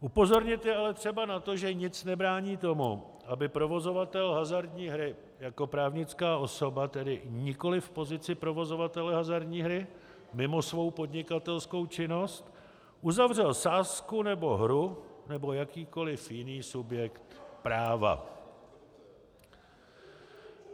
Upozornit je ale třeba na to, že nic nebrání tomu, aby provozovatel hazardní hry jako právnická osoba, tedy nikoliv v pozici provozovatele hazardní hry, mimo svou podnikatelskou činnost, uzavřel sázku nebo hru jako jakýkoliv jiný subjekt práva.